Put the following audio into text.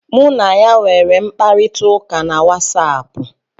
Mụ na ya nwere mkparịta ụka na Watsaapụ.